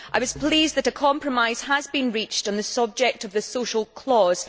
I was pleased that a compromise has been reached on the subject of the social clause.